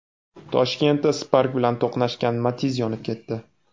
Toshkentda Spark bilan to‘qnashgan Matiz yonib ketdi .